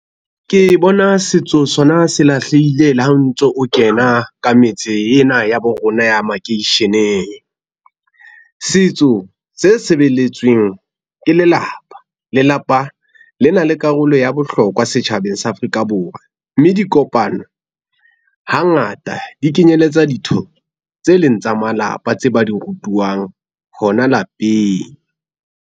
Ke bona setso sona se lahlehile le ha o ntso o kena ka metse ena ya bo rona ya makeisheneng. Setso se sebeletsweng ke lelapa. Lelapa le na le karolo ya bohlokwa setjhabeng sa Afrika Borwa, mme dikopano hangata di kenyeletsa ditho tse leng tsa malapa tse ba di rutuwang hona lapeng.